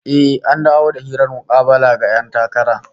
Eh, an dawo da yin hirar mukabala ga 'yan takara